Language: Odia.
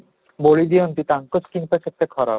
ବୋଳି ଦିଅନ୍ତି ତାଙ୍କ skin ଟା କେତେ ଖରାପ